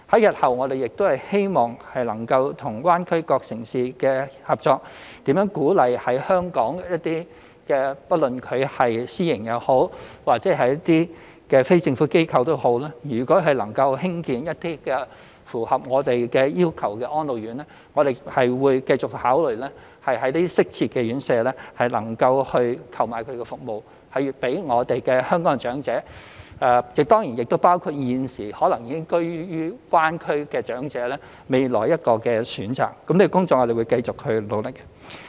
日後，我們希望能夠與大灣區各城市合作，鼓勵香港不論是私營或非政府機構，如能興建一些符合我們要求的安老院，我們會繼續考慮在適切的院舍購買服務予香港的長者，當然亦包括現時可能已居於大灣區的長者，讓他們未來有多一個選擇，這些工作我們會繼續努力。